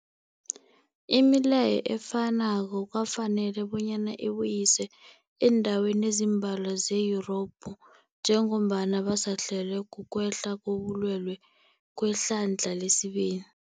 Imileyo efanako kwafanela bonyana ibuyiswe eendaweni ezimbalwa ze-Yurophu njengombana basahlelwa kukwehla kobulwele kwehlandla lesibili.